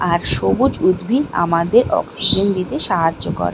আর সবুজ উদ্ভিদ আমাদের অক্সিজেন দিতে সাহায্য করে।